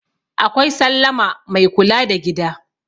akwai sallama Mai kula da gida